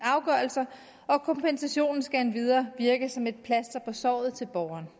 afgørelser og kompensationen skal endvidere virke som et plaster på såret til borgeren